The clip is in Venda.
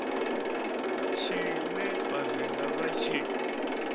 tshine vha vhavenḓa vha tshi